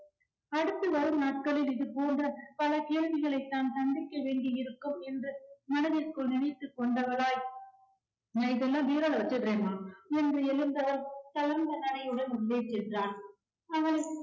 அடுத்து வரும் நாட்களில் இது போன்ற பல கேள்விகளை தான் சந்திக்க வேண்டி இருக்கும் என்று மனதிற்குள் நினைத்துக் கொண்டவளாய் நான் இதெல்லாம் bureau ல்ல வச்சிருறேன்மா என்று எழுந்த நனையுடன் உள்ளே சென்றாள். அவள்